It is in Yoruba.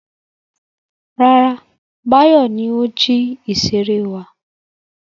Rárá, Báyọ̀ ni ó jí ìṣeré wa.